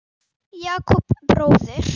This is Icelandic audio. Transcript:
Jakob bróðir.